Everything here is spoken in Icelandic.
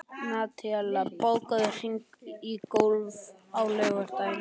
Nataníel, bókaðu hring í golf á laugardaginn.